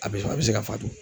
A bɛ fɔ a bɛ se ka faatu.